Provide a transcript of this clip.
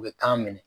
U bɛ kan minɛ